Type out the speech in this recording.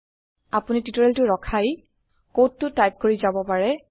আপোনি টিওটৰিয়েলটো ৰখাই কডটো টাইপ কৰি যাব পাৰে